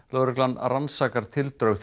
lögreglan rannsakar tildrög